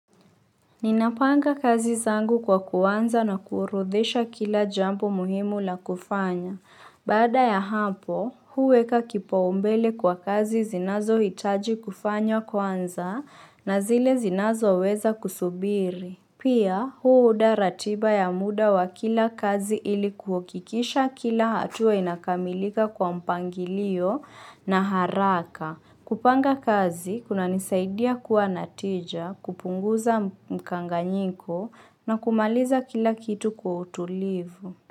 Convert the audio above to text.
Ninapanga kazi zangu kwa kuanza na kuorodhesha kila jambo muhimu la kufanya. Baada ya hapo, huweka kipaumbele kwa kazi zinazohitaji kufanywa kuanza na zile zinazo weza kusubiri. Pia, huuda ratiba ya muda wa kila kazi ili kuhakikisha kila hatua inakamilika kwa mpangilio na haraka. Kupanga kazi, kuna nisaidia kuwa na tija, kupunguza mkanganyiko na kumaliza kila kitu kwa utulivu.